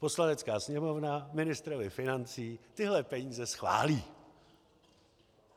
Poslanecká sněmovna ministrovi financí tyhle peníze schválí.